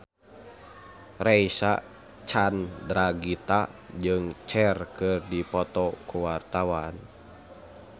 Reysa Chandragitta jeung Cher keur dipoto ku wartawan